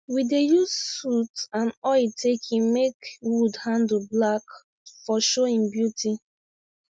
we dey use soot and oil taken make wood handle black for show im beauty